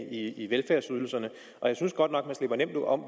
ned i velfærdsydelserne og jeg synes godt nok man slipper nemt om